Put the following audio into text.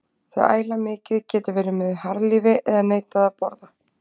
Þau æla mikið, geta verið með harðlífi eða neitað að borða.